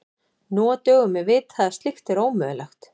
Nú á dögum er vitað að slíkt er ómögulegt.